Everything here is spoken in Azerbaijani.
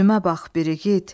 üzümə bax bir igid.